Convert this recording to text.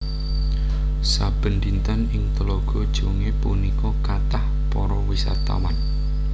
Saben dinten ing Tlaga Jongé punika kathah para wisatawan